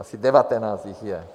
Asi devatenáct jich je.